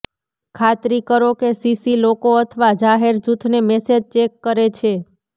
ખાતરી કરો કે સીસી લોકો અથવા જાહેર જૂથને મેસેજ ચેક કરે છે